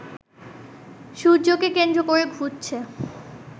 সূর্যকে কেন্দ্র করে ঘুরছে